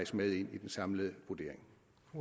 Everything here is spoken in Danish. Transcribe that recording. med i den samlede vurdering